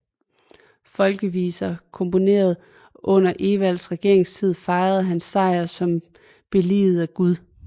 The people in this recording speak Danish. Folkeviser komponeret under Edvards regeringstid fejrede hans sejr som billiget af Gud